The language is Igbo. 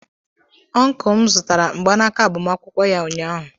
Ọncụl m zụtara mgbanaka agbamakwụkwọ ya ụnyaahụ.